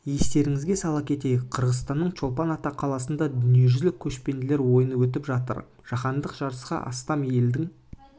естеріңізге сала кетейік қырғызстанның чолпан ата қаласында дүниежүзілік көшпенділер ойыны өтіп жатыр жаһандық жарысқа астам елдің